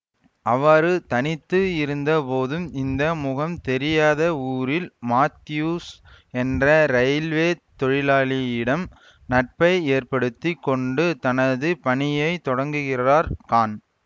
அவ்வாறு தனித்து இருந்த போதும் இந்த முகம் தெரியாத ஊரில் மாத்யூஸ் என்ற ரயில்வேத் தொழிலாளியிடம் நட்பை ஏற்படுத்தி கொண்டு தனது பணியை தொடங்குகிறார் கான்